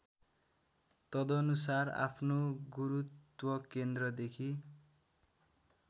तदनुसार आफ्नो गुरूत्वकेन्द्रदेखि